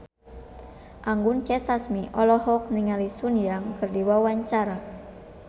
Anggun C. Sasmi olohok ningali Sun Yang keur diwawancara